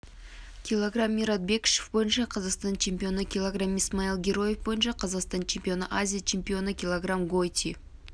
кг мират бекішев бойынша қазақстан чемпионы кг исмаил героев бойынша қазақстан чемпионы азия чемпионы кг гойти